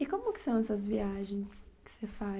E como que são essas viagens que você